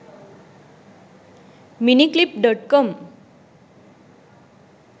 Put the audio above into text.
miniclip.com